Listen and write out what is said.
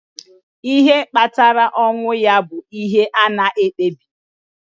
Ihe kpatara ọnwụ ya bụ ihe a na-ekpebibeghị.